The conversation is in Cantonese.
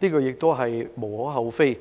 這亦是無可厚非。